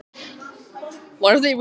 Hann lá andvaka þar til tók að morgna.